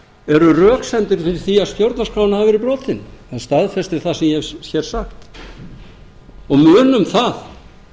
eru röksemdir fyrir því að stjórnarskráin hafi verið brotin hann staðfestir það sem ég hef hér sagt munum það